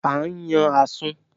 À ń yàn Àsun